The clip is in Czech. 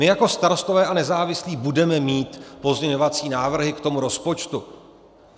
My jako Starostové a nezávislí budeme mít pozměňovací návrhy k tomu rozpočtu.